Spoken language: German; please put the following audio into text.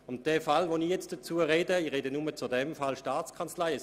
Ich spreche nun ausschliesslich zu der Massnahme, die die Staatskanzlei betrifft.